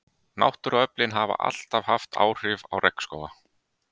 Náttúruöflin hafa alltaf haft áhrif á regnskóga.